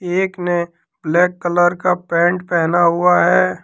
एक ने black colour का पेंट पहना हुआ है।